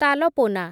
ତାଲପୋନା